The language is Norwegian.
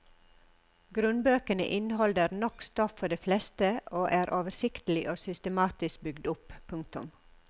Grunnbøkene inneholder nok stoff for de fleste og er oversiktlig og systematisk bygd opp. punktum